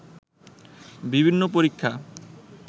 বিভিন্ন পরীক্ষা